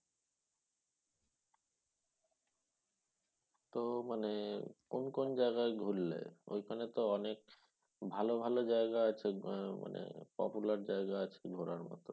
তো মানে কোন কোন জায়গায় ঘুরলে? ঐখানে তো অনেক ভালো ভালো জায়গা আছে আহ মানে popular জায়গা আছে ঘোরার মত